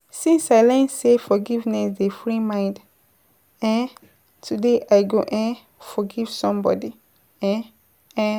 Since I learn sey forgiveness dey free mind, um today I go um forgive somebodi[um]